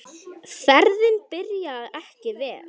Ferðin byrjaði ekki vel.